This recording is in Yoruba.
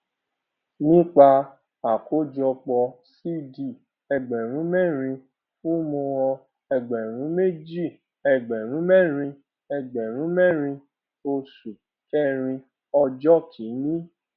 nípa àkójọpọ cd ẹgbẹrún mẹrin fún mohan ẹgbẹrún méjì ẹgbẹrún mẹrin ẹgbẹrún mẹrin oṣù kẹrin ọjọ kìíní